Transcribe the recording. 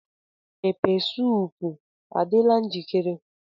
Pepeesoop adịla njikere?